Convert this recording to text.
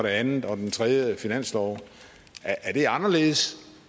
anden og den tredje finanslov er det anderledes